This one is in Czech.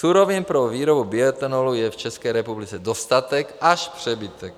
Surovin pro výrobu bioetanolu je v České republice dostatek až přebytek.